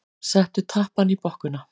Settu tappann í bokkuna.